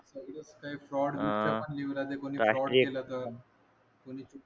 काही फ्रॉड च पण राहते कोणी फ्रॉड तर